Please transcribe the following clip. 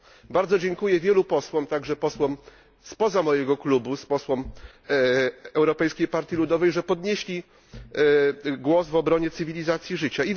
Bardzo dziękuję wielu posłom, także posłom spoza mojego klubu, posłom Europejskiej Partii Ludowej, że podnieśli głos w obronie cywilizacji życia.